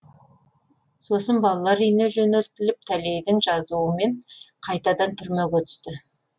сосын балалар үйіне жөнелтіліп тәлейдің жазуымен қайтадан түрмеге түсті